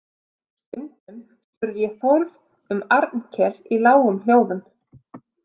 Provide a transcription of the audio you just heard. Stundum spurði ég Þórð um Arnkel í lágum hljóðum.